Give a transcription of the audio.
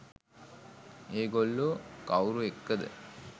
ඒ ගොල්ලෝ කවුරු එක්කද